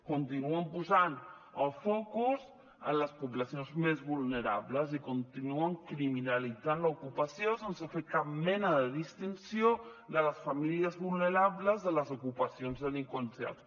continuen posant el focus en les poblacions més vulnerables i continuen criminalitzant l’ocupació sense fer cap mena de distinció de les famílies vulnerables de les ocupacions delinqüencials